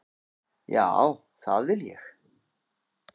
Já, það vil ég.